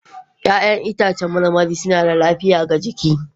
Ya'yan itãcen marmari suna da lafiya ga jiki.